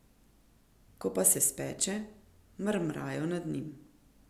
Ko pa se speče, mrmrajo nad njim.